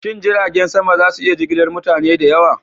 Shin jiragen sama za su iya jigilar mutane da yawa?